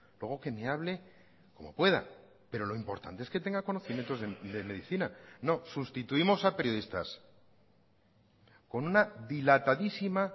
luego que me hable como pueda pero lo importante es que tenga conocimientos de medicina no sustituimos a periodistas con una dilatadísima